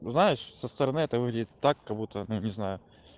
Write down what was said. ну знаешь со стороны это выглядит так как будто ну не знаю